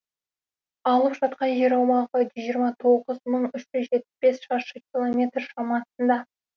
алып жатқан жер аумағы жүз жиырма тоғыз бүтін үш жүз жетпіс бес шаршы километр шамасында